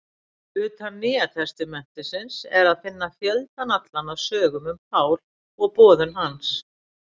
Utan Nýja testamentisins er að finna fjöldann allan af sögum um Pál og boðun hans.